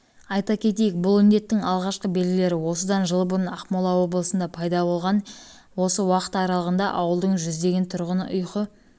айта кетейік бұл індеттің алғашқы белгілері осыдан жыл бұрын ақмола облысында пайда болған еді осы уақыт аралығында ауылдың жүздеген тұрғыны ұйқы